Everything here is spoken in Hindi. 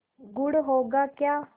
गुड़ होगा क्या